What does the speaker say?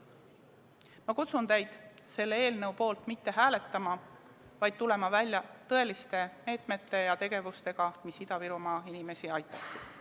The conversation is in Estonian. Ma kutsun teid selle eelnõu poolt mitte hääletama, vaid tulema välja tõeliste meetmete ja tegevustega, mis Ida-Virumaa inimesi aitaksid.